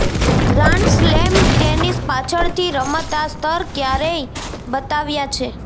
grand slam tennis પાછળથી રમત આ સ્તર ક્યારેય બતાવ્યા છે